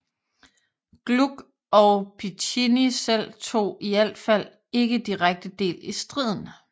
Gluck og Piccinni selv tog i alt fald ikke direkte del i striden